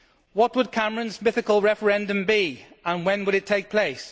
What would Cameron's mythical referendum be, and when would it take place?